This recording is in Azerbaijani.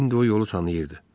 İndi o yolu tanıyırdı.